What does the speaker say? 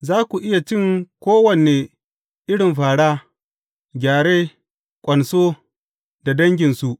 Za ku iya cin kowane irin fāra, gyare, ƙwanso da danginsu.